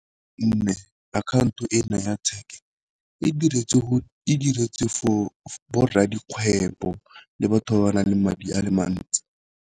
account-o e naya tšheke e diretswe for gore a dikgwebo le batho ba ba nang le madi a le mantsi.